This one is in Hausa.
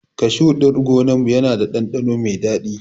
Kashu ɗin gonar mu yana da ɗanɗano mai dadi